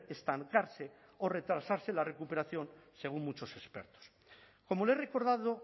estancarse o retrasarse la recuperación según muchos expertos como le he recordado